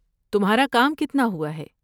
تمہارا کام کتنا ہوا ہے؟